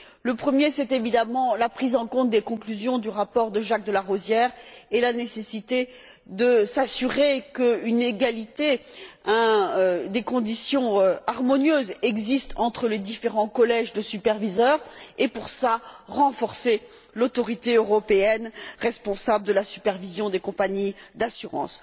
Le premier, c'est évidemment la prise en compte des conclusions du rapport de Jacques de Larosière et la nécessité de s'assurer qu'une égalité et des conditions harmonieuses existent entre les différents collèges de superviseurs, et, à cette fin, renforcer l'autorité européenne responsable de la supervision des compagnies d'assurance.